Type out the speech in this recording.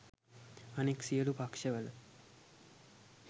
අනෙක් සියළු පක්ෂවල